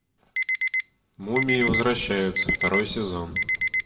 мумии возвращаются второй сезон